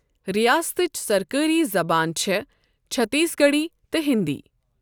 رِیاستٕچ سرکٲرۍ زَبانہٕ چھےٚ چٔھتیٖس گَڑھی تہٕ ہِنٛدی۔